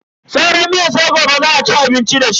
Sauran miyar sai gobe za a ci abinci dashi.